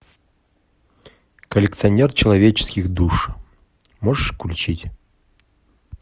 коллекционер человеческих душ можешь включить